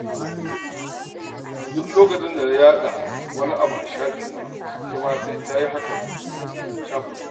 Duk lokacin da na yaɗa wani abu a shafina, ita ma sai ta yi hakan a shafinta.